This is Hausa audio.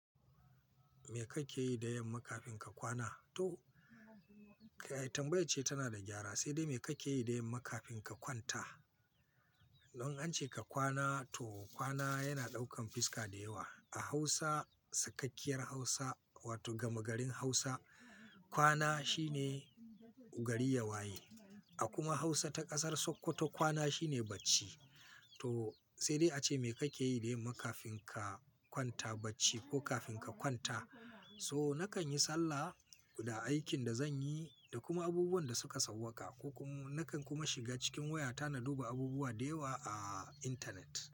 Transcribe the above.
Me kake yi da yamma kafin ka kwana? To, tambayar ce tana da gyara, sai dai me kake yi da yamma kafin ka kwanta? Don an ce ka kwana to kwana yana ɗaukan fiska da yawa. A Hausa, sakakkiyar Hausa wato gama garin Hausa, kwana shine gari yawaye. A kuma Hausa ta ƙasar Sokoto kwana shine bacci. To sai dai ace me kake yi da yamma kafin ka kwanta bacci ko kafin ka kwanta? So nakan yi sallah da aikin da zan yi da kuma abubuwan da suka sauwaka. Ko kuma nakan kuma shiga cikin wayata na duba abubuwa da yawa a internet.